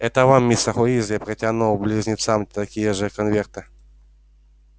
это вам мистер уизли протянул и близнецам такие же конверты